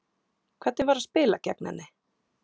Hvernig var að spila gegn henni?